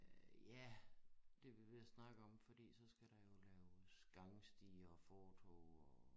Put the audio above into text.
Øh ja det vi ved at snakke om fordi skal der jo laves gangstier og fortov og